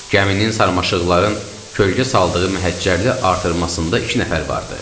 Gəminin sarmaşıqların kölgə saldığı məhəccərli artırmasında iki nəfər vardı.